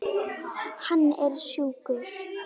Hann er sjúkur.